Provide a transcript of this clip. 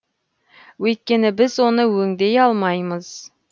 өйткені біз оны өңдей алмаймыз